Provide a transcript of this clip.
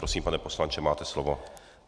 Prosím, pane poslanče, máte slovo.